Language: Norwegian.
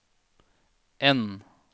N